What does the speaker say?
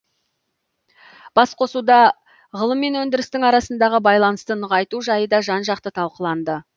басқосуда ғылым мен өндірістің арасындағы байланысты нығайту жайы да жан жақты талқыланды